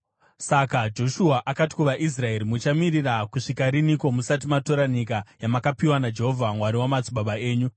Saka Joshua akati kuvaIsraeri, “Muchamirira kusvika rinhiko musati matora nyika yamakapiwa naJehovha Mwari wamadzibaba enyu?